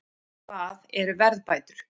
Hvað eru verðbætur?